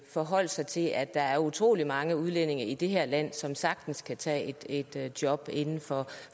forholdt sig til at der er utrolig mange udlændinge i det her land som sagtens kan tage et job inden for